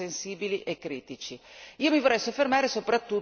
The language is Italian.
in settori veramente sensibili e critici.